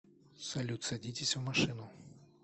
салют садитесь в машину